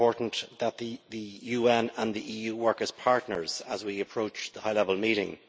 It is important that the UN and the EU work as partners as we approach the High Level Meeting.